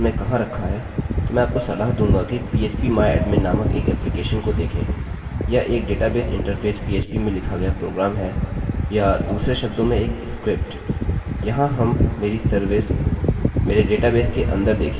यदि आपको पता नहीं कि आपने इसे अपने वेबसर्वर में कहाँ रखा है तो मैं आपको सलाह दूँगा कि phpmyadmin नामक एक एप्लिकेशन को देखें